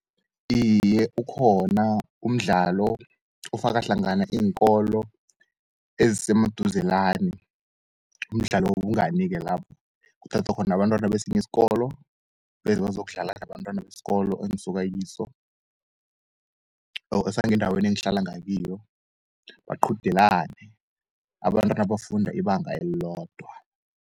Iye, ukhona umdlalo ofaka hlangana iinkolo esemaduzelani, umdlalo wobungani-ke lapho. Kuthathwa khona abantwana besiyiskolo, beze bazokudlala nabantwana beskolo engisukakiso or sangendaweni engihlala ngakiyo, baqudelane abantwana abafunda ibanga elilodwa.